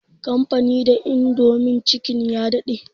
Kamfanin indomie chicken ya daɗe